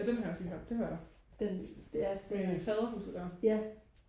den har jeg også lige hørt det hører jeg med faderhuset der